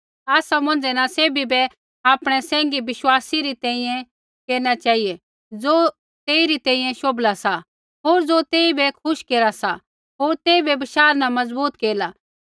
आसा मौंझ़ै न सैभी बै आपणै सैंघी विश्वासी री तैंईंयैं केरना चेहिऐ ज़ो तेई री तैंईंयैं शोभला सा होर ज़ो तेइबै खुश केरा सा होर तेइबै बशाह न मजबूत केरला